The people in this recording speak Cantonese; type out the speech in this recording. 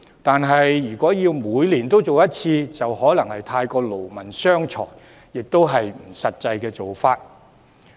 但他建議每年進行普查，就可能過於勞民傷財，亦不切實際。